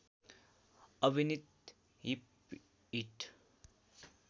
अभिनित whip it